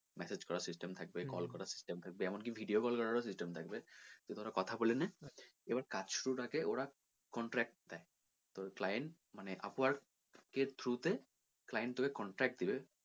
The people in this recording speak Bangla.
message করার system থাকবে call করার system থাকবে এমন কি video call করার ও system থাকবে তুই ধর কথা বলে নে এবার কাজ শুরুর আগে ওরা contract দেয় তোর client মানে upwork এর through তে client তোকে contract দিবে